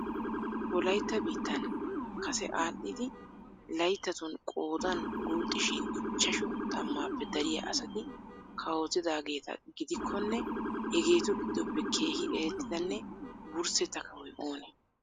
Wolayttaa biittan kase aadhdhidi layttatun qoodan guuxxishin ichashshu tammappe dariyaa asati kawotidaageeta gidikkonne hegetu giddoppe keehi erettidanne wurssetta kawoy oonee?